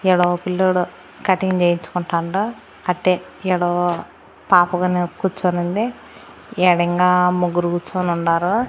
ఈడ ఓ పిల్లోడు కటింగ్ చేయించుకుంటండు అట్టే ఏదో పాప కును కూర్చొని ఉంది ఈడ ఇంకా ముగ్గురు కూర్చుని ఉండారు.